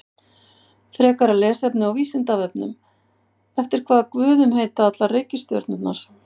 Frekara lesefni á Vísindavefnum Eftir hvaða guðum heita allar reikistjörnurnar?